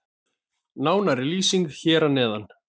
Nánari lýsing hér að neðan.